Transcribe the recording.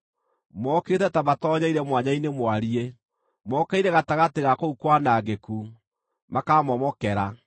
Mokĩte ta matoonyeire mwanya-inĩ mwariĩ; mokĩire gatagatĩ ga kũu kwanangĩku, makaamomokera.